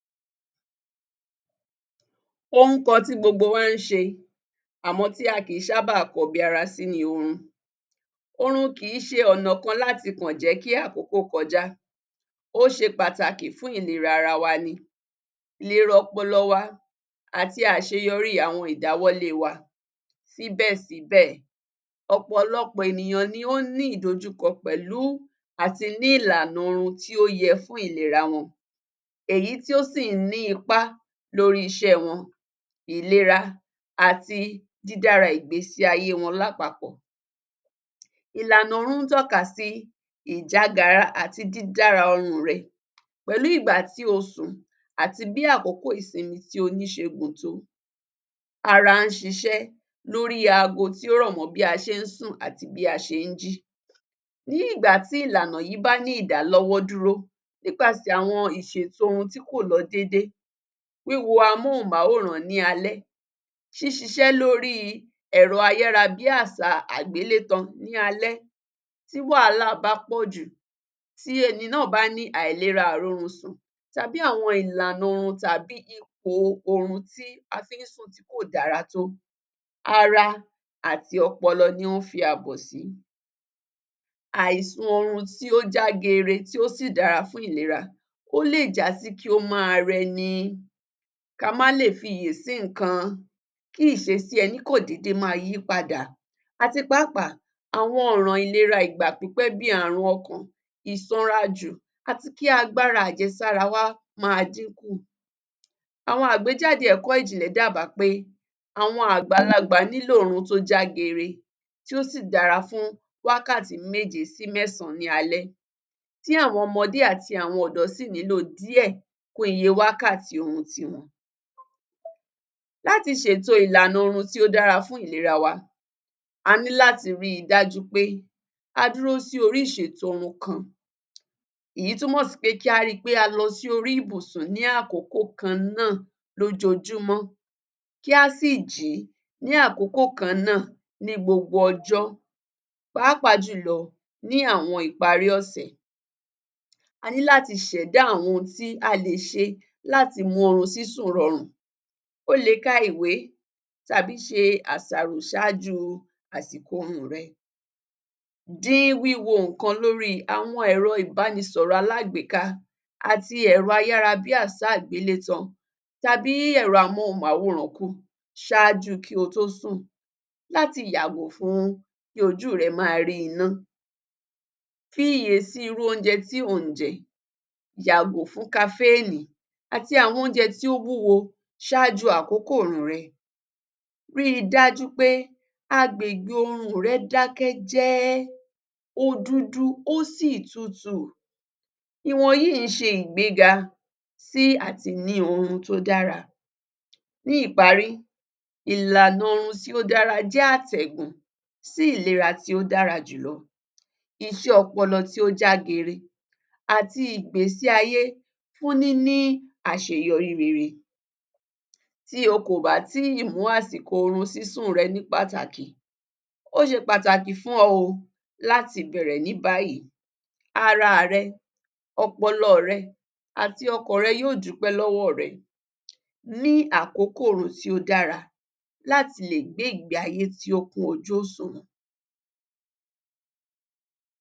Ohùn kan tí gbogbo wa ń ṣe àmọ̀ tí a kíi sábà kọbi ara sí ni orun. Orun kì í ṣe ọ̀nà kan láti kọ̀ jẹ́ kí àkókò kọjá, ó ṣe pàtàkì fún ìlera ara wa ni, ìlera ọpọlọ wa àti àṣeyọríi àwọn ìdáwọ́lée wa. Síbẹ̀ síbẹ̀ ọ̀pọ̀lọpọ̀ ènìyàn ni ón ní ìdojúkọ́ pẹ̀lú àti ni ìlànà orun tí ó yẹ fún ìlera wọn èyí tí ó sì ń ní ipá lórí iṣẹ́ẹ wọn, ìlera àti dídára ìgbésí ayée wọn lápapọ̀. Ìlànà orun ń tọ́ka sí ìjágara àti dídára orun-ùn rẹ̀ pẹ̀lú ìgbà tí o sùn àti bí àkókó ìsinmi tí o ní ṣe gùn tó. Ara ń ṣiṣẹ́ lóríi ago tí ó rọ̀ mọ́ bí a ṣe ń sùn àti bí a ṣe ń jí, ní ìgbà tí ìlànà yí bá ní ìdálọ́wọ́dúró nípasẹ̀ àwon ìṣèto ohun tí kò lọ déédée, wíwo amóhùnmáwòrán ní alẹ́, ṣíṣiṣẹ́ lóríi ẹ̀rọ ayárabíàsáa àgbélétaǹ ní alẹ́. Tí wàhálà bá pọ̀ jù, tí ẹni náà bá ní àìlera aìrórunsùn tàbí àwọn ìlànà orun tàbíi ìpòo orun tí a fin sùn tí kò dára tó, ara àti ọpọlọ ni wọ́n fi àbọ̀ sí. Àìsun oorun tí ó já geere tí ó sí dára fun ìlera ó lè já sí kí ó má a rẹni, ká má lè fiyè sí nǹkan, kí ìṣesí ẹní kọ̀ dédé má a yípadà àti pàápàá àwọn ọ̀ràn ìlera ìgbà pípẹ́ bíi àrùn ọkàn, ìsànrajú àti kí agbára àjẹsára wa má dínkù. Àwọn àgbéjáde ẹ̀kọ́ ìjìnlẹ̀ dá bàá pé àwọn àgbàlagbà nílò orun tó jágere, tí ó sì dára fún wákàtí méje sí mẹ́sàn-án ní alẹ̀, tí àwọn ọmọdé àti àwọn ọ̀dọ́ sì nílò díẹ̀ kún iye wákàtí orun ti wọn. Láti ṣèto ìlànà orun tí ó dára fún ìlera wa, aní láti rí i dájú pe a dúró sí orí ìṣètò orun kan èyí túmọ̀ sí pé kí á ri pé a lọ sí orí ìbùsùn ní àkókò kan náà lójoojúmọ́, kí a sì jí ní àkókò kan náà ní gbogbo ọjọ́ pàápàá jùlọ ní àwọn ìparí ọ̀sẹ̀. A ní láti ṣẹ̀dá àwọn ohun tí a lè ṣe láti mú orun sísùn rọrùn, o lè ka ìwé tàbí ṣe àṣàrò ṣáájúu àsìkò oorun-ùn rẹ, dín wíwo nǹkan lórí àwọn ẹ̀rọ ìbánisọ̀rọ̀ alágbèéká àti ẹ̀rọ ayárabíàsá àgbélétàn tàbí ẹ̀rọ amóhùnmáwòrán kú ṣáájúu kí o tó sùn láti yàgò fún kí ojúù rẹ ma rí iná. Fi iyè sí irúu oúnjẹ tí ò ń jẹ, yàgò fún kaféènì àti àwọn oúnjẹ tí ó wúwo ṣáájúu àkókò orun-ùn rẹ̀. Rí i dájú pe agbègbe orun-ùn rẹ̀ dákẹ́ jẹ́ẹ́, ó dúdú, ó sì tutù, ìwọ̀n yíì í ṣe ìgbéga sí à ti ní orun tó dára. Ní ìparí, ìlànà orun tí ó dáraa jẹ́ àtẹ̀gùn sí ìlera tí ó dára jùlọ, iṣẹ́ ọpọlọ tí ó jágere àti ìgbésí ayé fún níní àṣeyọrí rere. Tí o kò bá tí ì mú àsìkò orun sísùn rẹ ní pàtàkì, ó ṣe pàtàkì fún ọ o láti bẹ̀rẹ̀ ní báyìí araà rẹ, ọpọlọọ̀ rẹ àti ọkàn rè yóò dúpé lọ́wọ́ọ̀ rẹ. Ní àkókò orun tí ó dára láti lè gbé ìgbé ayé tó kún ojú òṣùwọ̀n.